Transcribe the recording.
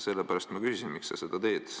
Sellepärast ma küsisingi, miks sa seda teed.